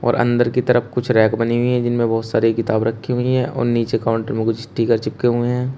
और अंदर की तरफ कुछ रैक बनी हुई हैं जिनमें बहोत सारी किताब रखी हुई हैं और नीचे काउंटर में कुछ स्टीकर चिपके हुए हैं।